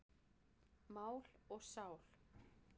Mál og sál.